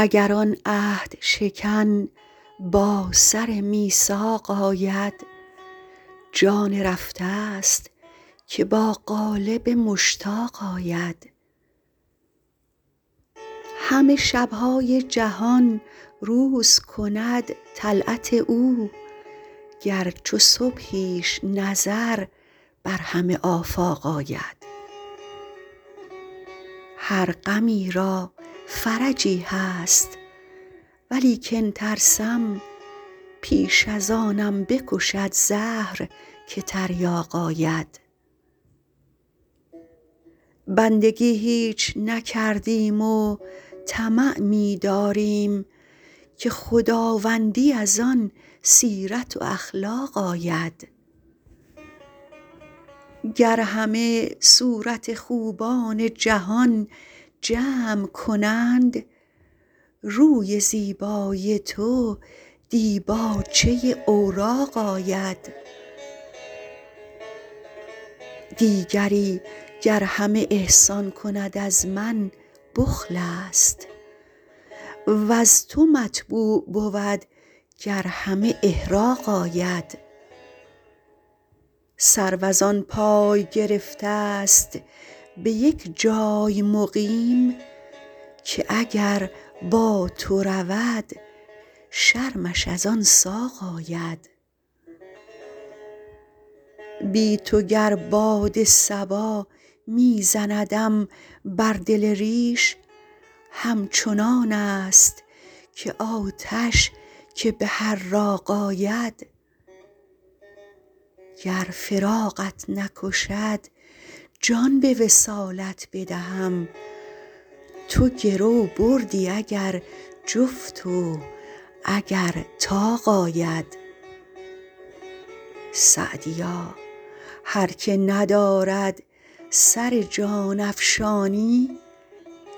اگر آن عهدشکن با سر میثاق آید جان رفته ست که با قالب مشتاق آید همه شب های جهان روز کند طلعت او گر چو صبحیش نظر بر همه آفاق آید هر غمی را فرجی هست ولیکن ترسم پیش از آنم بکشد زهر که تریاق آید بندگی هیچ نکردیم و طمع می داریم که خداوندی از آن سیرت و اخلاق آید گر همه صورت خوبان جهان جمع کنند روی زیبای تو دیباچه اوراق آید دیگری گر همه احسان کند از من بخل است وز تو مطبوع بود گر همه احراق آید سرو از آن پای گرفته ست به یک جای مقیم که اگر با تو رود شرمش از آن ساق آید بی تو گر باد صبا می زندم بر دل ریش همچنان است که آتش که به حراق آید گر فراقت نکشد جان به وصالت بدهم تو گرو بردی اگر جفت و اگر طاق آید سعدیا هر که ندارد سر جان افشانی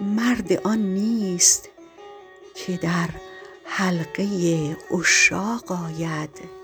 مرد آن نیست که در حلقه عشاق آید